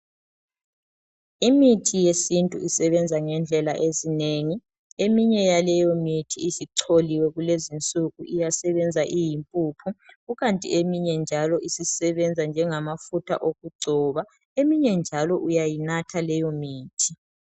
Imithi yesintu isebenza ngendlela ezinengi eminye yaleyo mithi isicholiwe kulezinsuku iyasebenza iyimpuphu kukanti eminye njalo isisebenza njengamafutha okugcoba, eminye njalo uyayinatha leyo mithi.